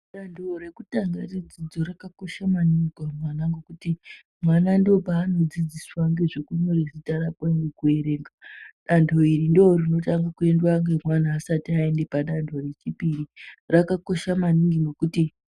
Dando rekutanga redzidzo raka kosha maningi ku mwana ngekuti mwana ndo pano dzidziswa ngezve kunyore zita rakwe neku erenga dando iri ndo rino tanga ku endwa ne mwana asati ayende pa ndando re chipiri raka kosha maningi nekuti.